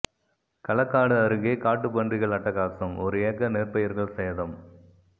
களக்காடு அருகே காட்டு பன்றிகள் அட்டகாசம் ஒரு ஏக்கர் நெற்பயிர்கள் சேதம்